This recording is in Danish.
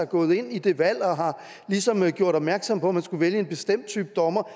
gået ind i det valg og ligesom har gjort opmærksom på man skulle vælge en bestemt type dommer